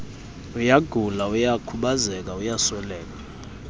uyagula uyakhubazeka uyasweleka